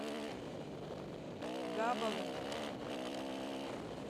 габову